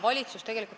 Aitäh!